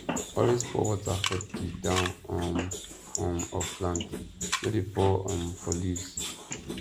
always pour water for di down um um of plant no dey pour um for leaves